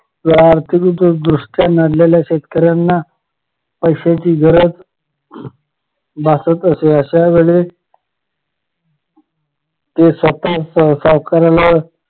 आर्थिकदृष्ट्या नडलेल्या शेतकऱ्यांना पैश्याची गरज भासत असे अश्या वेळेला ते स्वतः सावकाराला